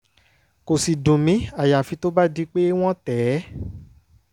kò sì dùn mí àyàfi tó bá di pé wọ́n tẹ̀ ẹ́